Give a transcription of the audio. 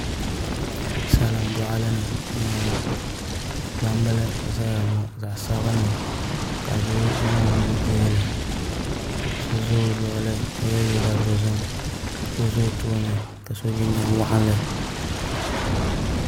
Salin boɣali ni n boŋo gbambili n ʒɛya ŋo zaɣ sabinli ka doo zaŋ o nuu dihili so ʒɛ o luɣuli ka yɛ liiga dozim so ʒɛ o tooni ka so jinjɛm waɣanli